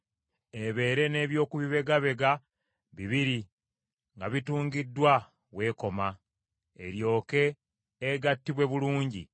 Ebeere n’eby’okubibegabega bibiri nga bitungiddwa w’ekoma, eryoke egattibwe bulungi.